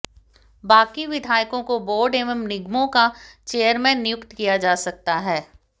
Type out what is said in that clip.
बाकी विधायकों को बोर्ड एवं निगमों का चेयरमैन नियुक्त किया जा सकता है